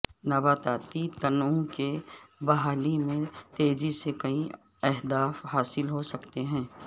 نباتاتی تنوع کی بحالی میں تیزی سے کئی اہداف حاصل ہو سکتے ہیں